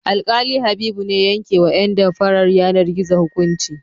Alƙali Habibu ne ya yankewa ƴan damfarar yanar-gizo hukunci.